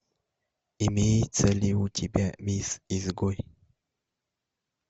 имеется ли у тебя мисс изгой